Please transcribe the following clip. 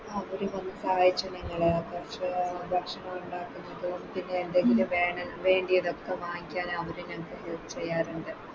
അവര് വന്ന് സഹായിച്ചു ഞങ്ങളെ ക്ഷ ഭക്ഷണോണ്ടാക്കുന്നത് പിന്നെ എന്തെങ്കിലും വേണേ വേണ്ടിയതൊക്കെ വാങ്ങിക്കാന് അവര് ഞങ്ങളെ Help ചെയ്യാറ്ണ്ട്